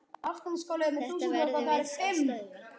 Þetta verðum við að stöðva.